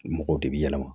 Mɔgɔw de bi yɛlɛma